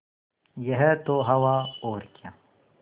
यह तो हवा और क्या